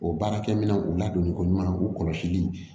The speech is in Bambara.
O baarakɛminɛnw ladonniko ɲuman u kɔlɔsili